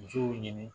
Musow ɲini